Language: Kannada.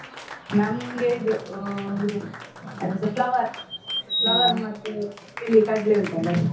ನಮ್ಗೆ ಇದು ಉ ಇದು ಅದೆಂತ flower flower ಮತ್ತೆ ಬಿಳಿ ಕಡ್ಲೆ ಉಂಟಲ್ಲ ಅದು.